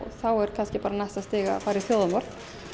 þá er næsta stig bara að fara í þjóðarmorð